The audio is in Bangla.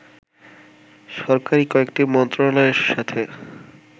সরকারি কয়েকটি মন্ত্রণালয়ের সাথে